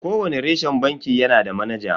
Kowani reshen banki yanada manaja.